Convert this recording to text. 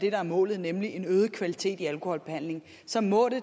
er målet nemlig øget kvalitet i alkoholbehandlingen så må det